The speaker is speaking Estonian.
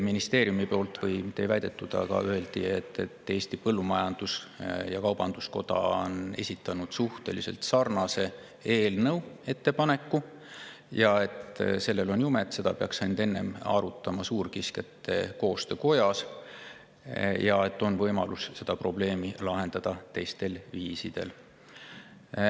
Siis öeldi veel ministeeriumi poolt, et Eesti Põllumajandus-Kaubanduskoda on esitanud suhteliselt sarnase eelnõu ettepaneku ja et sellel on jumet, aga seda peaks enne arutama suurkiskjate koostöö, ning on võimalus lahendada seda probleemi teistel viisidel.